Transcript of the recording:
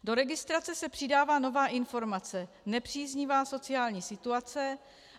Do registrace se přidává nová informace - nepříznivá sociální situace.